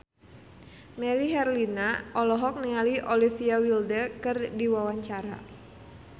Melly Herlina olohok ningali Olivia Wilde keur diwawancara